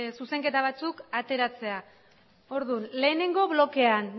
zuzenketa batzuk ateratzea orduan lehenengo blokean